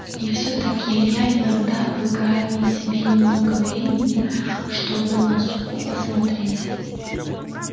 и всё-таки илья иногда выкраивал себе немного времени чтобы на суку посмотреть